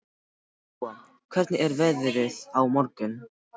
Gúa, hvernig er veðrið á morgun?